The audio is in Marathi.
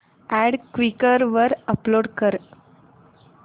अॅड क्वीकर वर अपलोड कर